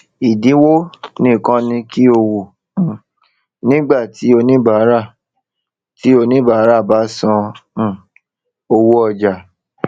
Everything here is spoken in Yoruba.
ìdínwo nìkan ni kí o wò um nígbà tí oníbárà tí oníbárà bá san um owó ọjà